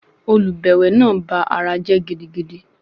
Olùbẹ̀wẹ̀ náà ba ara jẹ́ gidigidi.